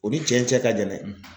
O ni cɛn cɛ ka jan dɛ.